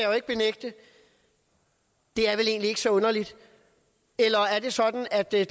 jo ikke benægte det er vel egentlig ikke så underligt er det sådan at der er